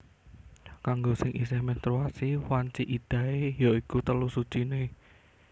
Kanggo sing isih menstruasi wanci iddahé ya iku telu suciné